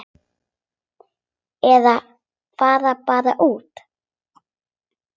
Eða fara bara út.